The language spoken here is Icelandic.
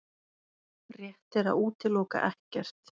Rétt er að útiloka ekkert